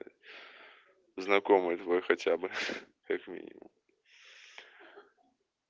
знакомый твой хотя бы как минимум